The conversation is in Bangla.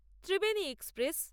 ত্রিবেণী এক্সপ্রেস